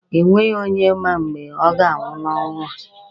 E nweghi onye ma mgbe ọ ga-anwụ n'ụwa a.